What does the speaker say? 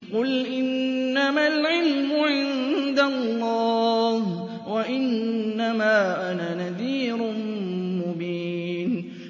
قُلْ إِنَّمَا الْعِلْمُ عِندَ اللَّهِ وَإِنَّمَا أَنَا نَذِيرٌ مُّبِينٌ